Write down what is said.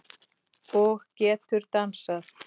Og getur dansað.